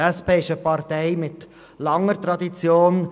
Die SP ist eine Partei mit langer Tradition.